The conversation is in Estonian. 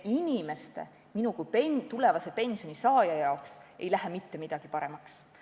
Inimeste, ka minu kui tulevase pensionisaaja jaoks ei lähe mitte midagi paremaks.